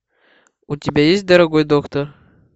у тебя есть дорогой доктор